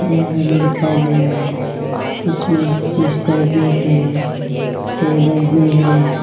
Bedroom दिखाई दे रहे इसमें बिस्तर भी है टेबल भी है।